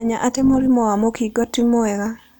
Menya atĩ mũrimũ wa mũkingo ti mwega.